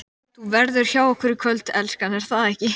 ÞÚ VERÐUR HJÁ OKKUR Í KVÖLD, ELSKAN, ER ÞAÐ EKKI?